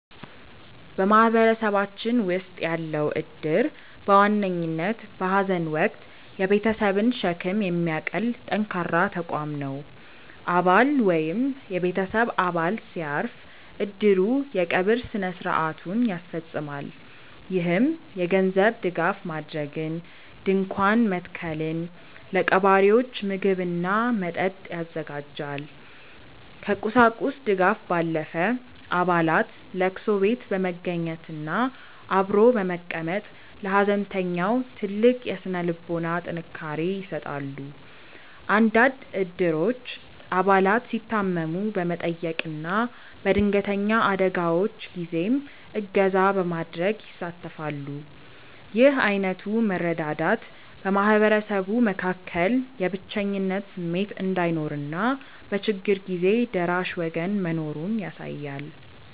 በማህበረሰባችን ውስጥ ያለው እድር በዋነኝነት በሐዘን ወቅት የቤተሰብን ሸክም የሚያቀል ጠንካራ ተቋም ነው። አባል ወይም የቤተሰብ አባል ሲያርፍ፣ እድሩ የቀብር ሥነ ሥርዓቱን ያስፈፅማል። ይህም የገንዘብ ድጋፍ ማድረግን፣ ድንኳን መትከልን፣ ለቀባሪዎች ምግብና መጠጥ ያዘጋጃል። ከቁሳቁስ ድጋፍ ባለፈ፣ አባላት ለቅሶ ቤት በመገኘትና አብሮ በመቀመጥ ለሐዘንተኛው ትልቅ የሥነ ልቦና ጥንካሬ ይሰጣሉ። አንዳንድ እድሮች አባላት ሲታመሙ በመጠየቅና በድንገተኛ አደጋዎች ጊዜም እገዛ በማድረግ ይሳተፋሉ። ይህ ዓይነቱ መረዳዳት በማህበረሰቡ መካከል የብቸኝነት ስሜት እንዳይኖርና በችግር ጊዜ ደራሽ ወገን መኖሩን ያሳያል።